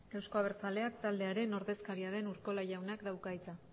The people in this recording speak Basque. euzko abertzaleak taldearen ordezkaria den urkola jaunak dauka hitza